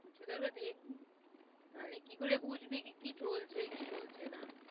কিছু তো একটা দেখবি, নাহলে কি করে বুঝবি? কি, কি চলছে, কি চলছে না,